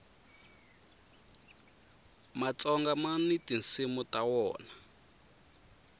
matsonga mani tinsimu ta wona